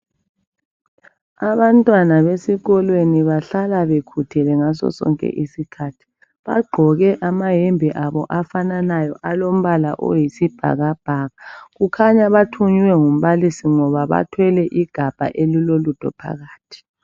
Amantwana besikolweni bahlala bekhuthele ngasosonke isikhathi bagqoke amayembe abo afananayo alombala oyisibhakabhaka bakhanya bathunywe ngumbalisi ngoba bakhanya bethwele igabha elilolutho phakathi .